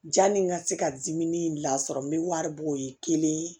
Janni n ka se ka dimi lasɔrɔ n bɛ wari bɔ o ye kelen ye